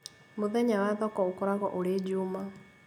Mũthenya wa thoko ũkoragwo ũrĩ juma